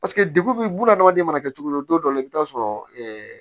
Paseke degun bɛ buna adamaden mana kɛ cogo cogo don dɔ la i bɛ taa sɔrɔ